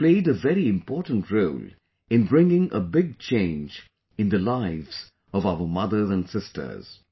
It has played a very important role in bringing a big change in the lives of our mothers and sisters